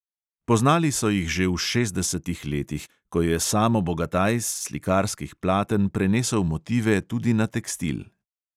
Poznali so jih že v šestdesetih letih, ko je samo bogataj s slikarskih platen prenesel motive tudi na tekstil.